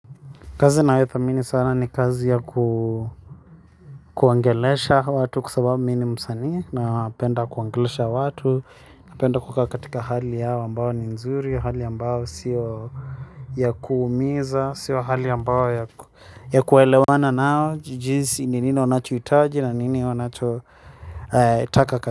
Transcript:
Kazi nayothamini sana ni kazi ya kuongelesha watu kwa sababu mi ni msanii napenda kuongelesha watu. Napenda kukaa katika hali yao ambayo ni nzuri, hali ambayo sio ya kuumiza, sio hali ambayo ya kuelewana nao. Jinsi ni nini wanachohitaji na nini wanacho itaka katika.